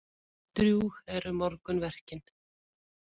Drjúg eru morgunverkin.